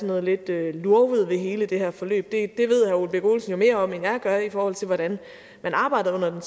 noget lidt lurvet ved hele det her forløb ved herre ole birk olesen jo mere om end jeg gør i forhold til hvordan man arbejdede under den